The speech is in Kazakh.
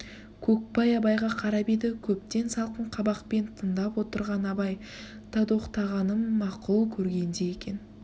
көкбай абайға қарап еді көптен салқын қабақпен тындап отырған абай датоқтағанын мақұл көргендей екен